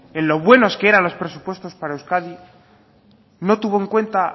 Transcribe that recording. en los buenos que eran los presupuesto para euskadi no tuvo en cuenta